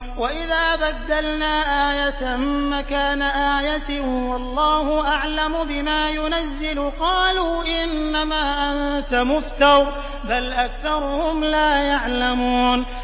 وَإِذَا بَدَّلْنَا آيَةً مَّكَانَ آيَةٍ ۙ وَاللَّهُ أَعْلَمُ بِمَا يُنَزِّلُ قَالُوا إِنَّمَا أَنتَ مُفْتَرٍ ۚ بَلْ أَكْثَرُهُمْ لَا يَعْلَمُونَ